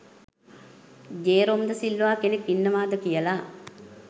Jerome de Silva කෙනෙක් ඉන්නවාද කියල.